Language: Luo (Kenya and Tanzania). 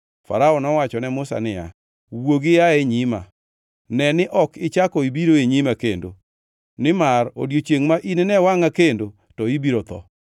Farao nowacho ne Musa niya, “Wuogi ia e nyima! Ne ni ok ichako ibiro e nyima kendo! Nimar odiechiengʼ ma inine wangʼa kendo to ibiro tho!”